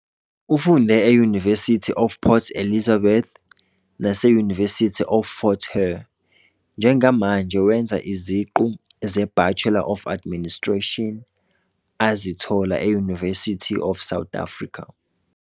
Ufunde e- University of Port Elizabeth nase- University of Fort Hare. Njengamanje wenza iziqu zeBachelor of Administration azithola e- University of South Africa.